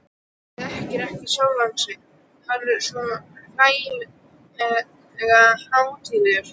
Þekkir ekki sjálfan sig, hann er svo hlægilega hátíðlegur.